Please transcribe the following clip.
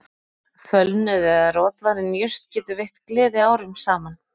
Fölnuð eða rotvarin jurt getur veitt gleði árum saman